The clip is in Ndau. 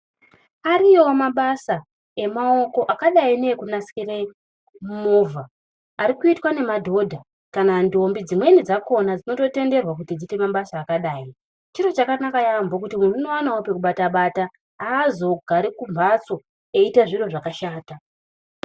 Ariyowo mabasa emaoko akadai neekunasire movha ari kuitwe nemadhodha kana ndombi. Dzimweni dzakona dzinototenderwa kuti dziite mabasa akadai. Chiro chakanaka yaambo kuti muntu unowanawo pekubata bata. Haazogari kumbatso eiita zviro zvakashata.